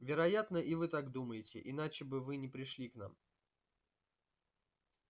вероятно и вы так думаете иначе бы вы не пришли к нам